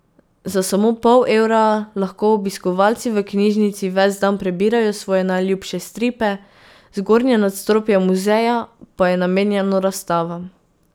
Za samo pol evra lahko obiskovalci v knjižnici ves dan prebirajo svoje najljubše stripe, zgornje nadstropje muzeja pa je namenjeno razstavam.